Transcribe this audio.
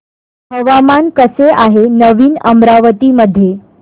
हवामान कसे आहे नवीन अमरावती मध्ये